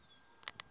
yo siya mathanga